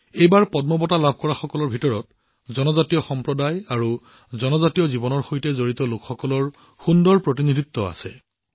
এইবাৰ পদ্ম বঁটা বিজয়ীসকলৰ মাজত জনজাতীয় সম্প্ৰদায় আৰু জনজাতীয় জীৱনৰ সৈতে জড়িত লোকসকলৰ উত্তম প্ৰতিনিধিত্ব পৰিলক্ষিত হৈছে